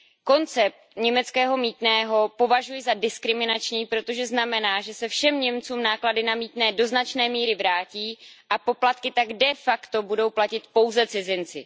Koncept německého mýtného považuji za diskriminační, protože znamená, že se všem Němcům náklady na mýtné do značné míry vrátí a poplatky tak de facto budou platit pouze cizinci.